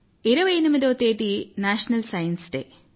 28వ తేదీ national science day